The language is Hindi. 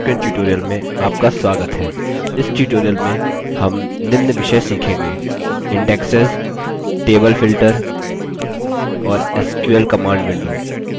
इस tutorial में हम निम्न विषय सीखेंगे: